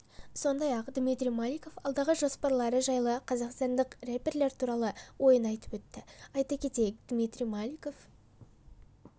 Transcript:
сондай-ақ дмитрий маликов алдағы жоспарлары жайлы қазақстандық рэперлер туралы ойын айтып өтті айта кетейік дмитрий маликов